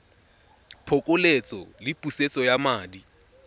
phokoletso le pusetso ya madi